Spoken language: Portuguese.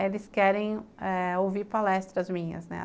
Eles querem eh ouvir palestras minhas, né?